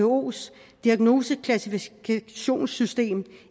who’s diagnoseklassifikationssystem